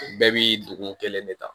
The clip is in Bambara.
Bɛɛ bi don kelen de ta